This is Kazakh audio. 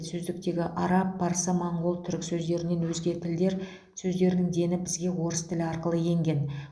сөздіктегі араб парсы моңғол түрік сөздерінен өзге тілдер сөздерінің дені бізге орыс тілі арқылы енген